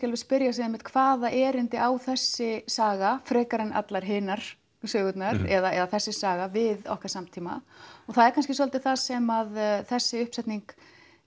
alveg spyrja sig hvaða erindi á þessi saga frekar en allar hinar sögurnar eða þessi saga við okkar samtíma og það er kannski svolítið það sem þessi uppsetning